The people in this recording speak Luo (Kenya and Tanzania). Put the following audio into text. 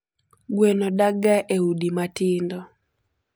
Gweno dakga e udi matindo.